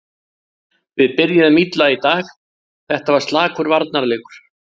Við byrjuðum illa í dag, þetta var slakur varnarleikur.